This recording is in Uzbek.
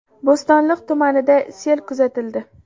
Bo‘stonliq tumanida sel kuzatildi.